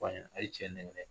Fɔ a ɲɛnɛ aye cɛ nɛgɛn